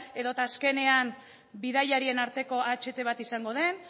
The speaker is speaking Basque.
edota azkenean bidaiarien arteko aht bat izango den